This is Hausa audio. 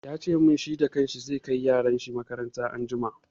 Ya ce min, shi da kan shi zai kai yaran shi makaranta anjima.